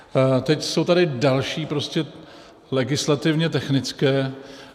Teď jsou tady další legislativně technické.